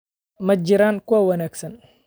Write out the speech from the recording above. Ma jiraan kuwa wanaagsan.